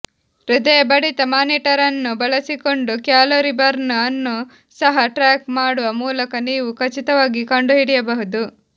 ಹೃದಯ ಬಡಿತ ಮಾನಿಟರ್ ಅನ್ನು ಬಳಸಿಕೊಂಡು ಕ್ಯಾಲೋರಿ ಬರ್ನ್ ಅನ್ನು ಸಹ ಟ್ರ್ಯಾಕ್ ಮಾಡುವ ಮೂಲಕ ನೀವು ಖಚಿತವಾಗಿ ಕಂಡುಹಿಡಿಯಬಹುದು